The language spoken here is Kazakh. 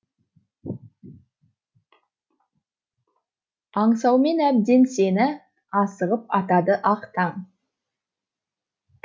аңсаумен әбден сені асығып атады ақ таң